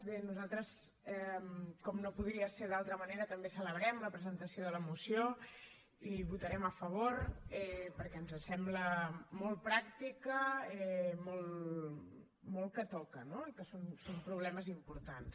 bé nosaltres com no podria ser d’altra manera també celebrem la presentació de la moció i hi votarem a favor perquè ens sembla molt pràctica molt que toca no i que són problemes importants